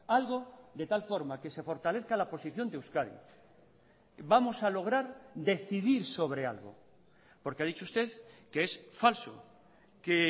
algo de tal forma que se fortalezca la posición de euskadi vamos a lograr decidir sobre algo porque ha dicho usted que es falso que